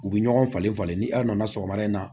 U bɛ ɲɔgɔn falen falen ni aw nana sɔgɔmada in na